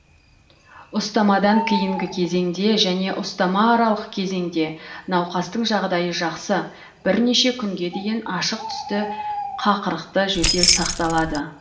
ұстамадан кейінгі кезеңде және ұстама аралық кезеңде науқастың жағдайы жақсы бірнеше күнге дейін ашық түсті қақырықты жөтел сақталады